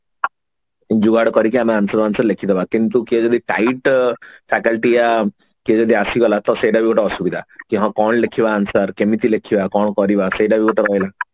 ଯୁଗାଡ କରିକି ଆମେ answer ବାଂଶର ଲେଖିଦବା କିନ୍ତୁ କିଏ ଯଦି tight faculty ୟା କିଏ ଯଦି ଆସିଗଲା ତ ସେଟା ବି ଗୋଟେ ଅସୁବିଧା କି ହଁ କଣ ଲେଖିବା answer କେମିତି ଲେଖିବା କଣ କରିବା ସେଟା ଗୋଟେ